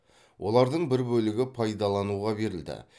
олардың бір бөлігі пайдалануға берілді